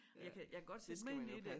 Jeg kan jeg kan godt sætte mig ind i det